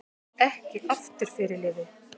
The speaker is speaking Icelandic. Ekki aftur fyrirliði